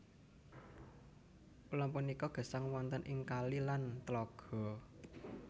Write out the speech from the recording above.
Ulam punika gesang wonten ing kali lan tlaga